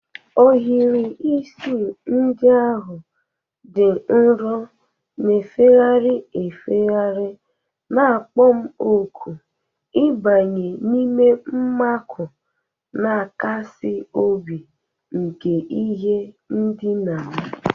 Ohiri isi ndị ahụ dị nro, na-efegharị efegharị na-akpọ m òkù ịbanye n'ime mmakụ na-akasi obi nke ihe ndina m.